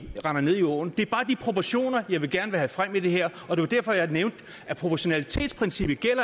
render ned i åen det er bare de proportioner jeg gerne vil have frem i det her og det var derfor jeg nævnte at proportionalitetsprincippet